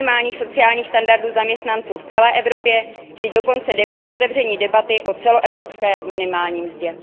minimálních sociálních standardů zaměstnanců v celé Evropě či dokonce otevření debaty o celoevropské minimální mzdě.